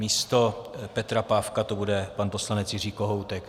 Místo Petra Pávka to bude pan poslanec Jiří Kohoutek.